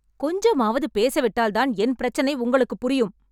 கொஞ்சமாவது பேச விட்டால்தான் என் பிரச்சினை உங்களுக்குப் புரியும்